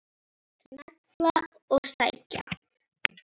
Smella og sækja.